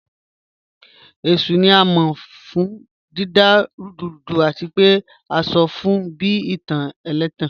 Eshu ni a mọ fun dida rudurudu ati pe a sọ fun bi itan ẹlẹtan